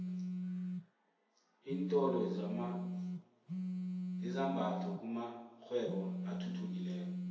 iintolo zezambatho kumakghwebo athuthukileko